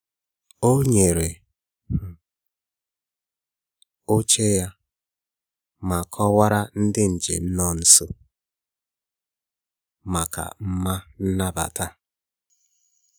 O nyere um oche ya ma kọwaara ndị njem nọ nso maka mma nnabata